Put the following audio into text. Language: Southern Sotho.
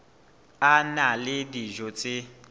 a na le dijo tse